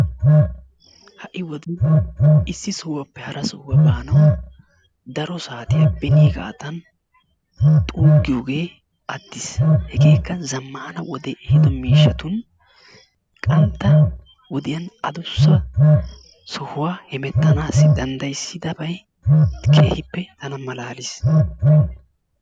Ha'i wode issi sohuwappe hara sohuwa baanawu daro saatiya beniigaadan xuugiyogee attiis, hegeekka zammana wode ehiiddo miishshatun qantta wodiyan addussa sohuwa hemmettanaassi danddayissidabay keehippe tana malaalliis.